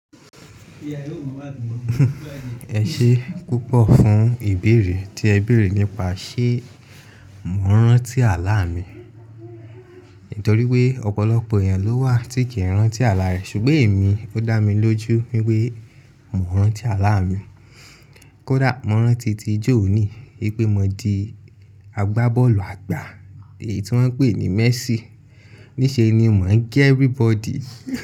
Ẹ ṣé púpọ̀ fún ìbéèrè tí ẹ béèrè nípa ṣé mò ń rántí àlá mi. Nítorí pé ọ̀pọ̀lọpọ̀ èèyàn ló wà tí kì í rántí àlá rẹ̀ ṣùgbọ́n èmi ó dá mi lójú wípé mò ń rántí àlá mi. Kódà mò ń rántí tí jọ òní wípé mo di agbábọ́ọ̀lù àgbà èyí tí wọ́n ń pè ní Messi. Níṣe ni mò ń gẹ everybody.